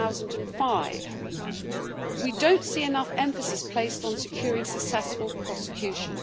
2005. We don't see enough emphasis placed on securing successful prosecution.